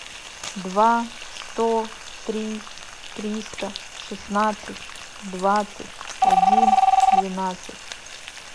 два сто три триста шестнадцать двадцать один двенадцать